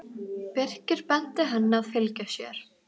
Birkir benti henni að fylgja sér.